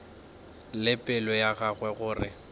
le pelo ya gagwe gore